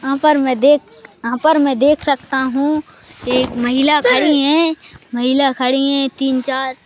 यहां पर मैं देख यहां पर मैं देख सकता हूं एक महिला खड़ी है महिला खड़ी हैं तीन चार--